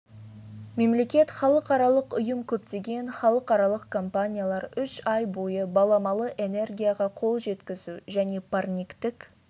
мемлекет халықаралық ұйым көптеген халықаралық компаниялар үш ай бойы баламалы энергияға қол жеткізу және парниктік